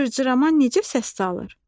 Cırcırama necə səs salır?